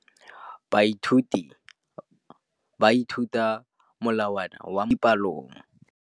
Baithuti ba ithuta ka molawana wa motheo mo dipalong.